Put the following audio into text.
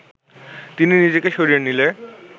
তিনি নিজেকে সরিয়ে নিলে